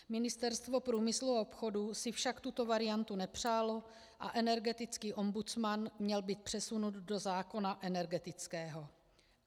Ministerstvo průmyslu a obchodu si však tuto variantu nepřálo a energetický ombudsman měl být přesunut do zákona energetického.